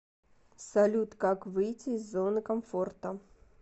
салют как выйти из зоны комфорта